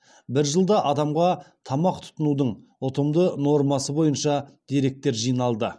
бір жылда адамға тамақ тұтынудың ұтымды нормасы бойынша деректер жиналды